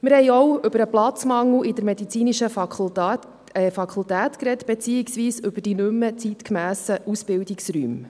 Wir haben auch über den Platzmangel in der medizinischen Fakultät gesprochen beziehungsweise über die nicht mehr zeitgemässen Ausbildungsräume.